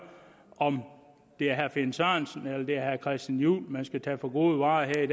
om det er herre finn sørensen eller det er herre christian juhl man skal tage for gode varer eller det